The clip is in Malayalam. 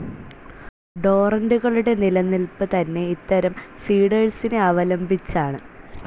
ടോറന്റുകളുടെ നിലനിൽപ്പ് തന്നെ ഇത്തരം സീഡേഴ്സിനെ അവലംബിച്ചാണ്.